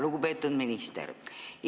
Lugupeetud minister!